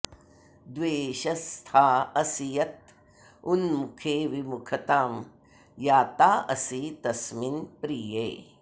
द्वेषस्था असि यत् उन्मुखे विमुखताम् याता असि तस्मिन् प्रिये